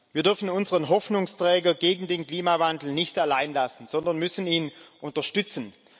Wir dürfen unseren Hoffnungsträger gegen den Klimawandel nicht allein lassen, sondern müssen ihn unterstützen.